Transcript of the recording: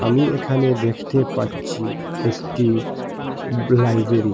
আমি এখানে দেখতে পাচ্ছি একটি লাইবেরি ।